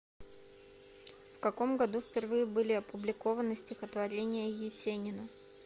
в каком году впервые были опубликованы стихотворения есенина